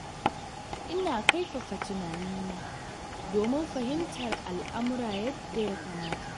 Ina yawan kaifafa tunanina domin fahimtar al'aumra yadda ya kamata.